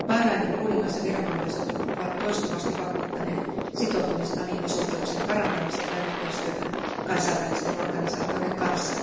Bahrainin kuningas ja viranomaiset ovat toistuvasti vakuuttaneet sitoutumistaan ihmisoikeuksien parantamiseen ja yhteistyöhön kansainvälisten organisaatioiden kanssa.